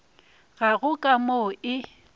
ga go ka mo e